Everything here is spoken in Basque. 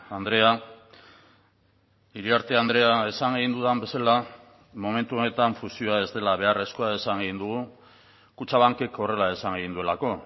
andrea iriarte andrea esan egin dudan bezala momentu honetan fusioa ez dela beharrezkoa esan egin dugu kutxabankek horrela esan egin duelako